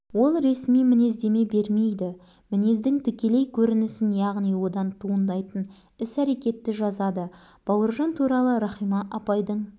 оның сол бір-ақ өмірі қаламына іліккен екен жазушы азапқа түсті дей бергін